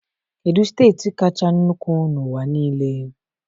Kedu steeti kacha nnukwu n'ụwa niile?